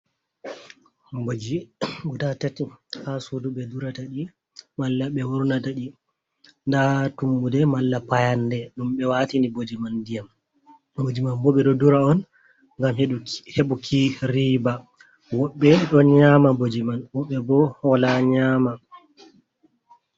Mboji guda tati ha sudu ɓe durata ɗi, malla ɓe wurnata ɗi. Nda tummude, malla payanɗe ɗum ɓe waatini mboji man ndiyam. Mboji man woɓɓe ɗo dura on ngam heɓuki riiba. Woɓɓe ɗo nyama mboji man, woɓɓe bo wola nyama.